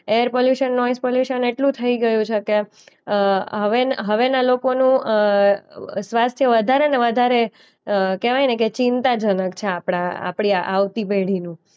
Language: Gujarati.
એરપોલ્યૂશન, નોઈઝ પોલ્યૂશન એટલું થઈ ગયું છે કે અ હવેન હવેના લોકોનું અ સ્વાસ્થ્ય વધારેને વધારે અ કહેવાયને કે ચિંતાજનક છે આપણા આપણી આવતી પેઢીનું.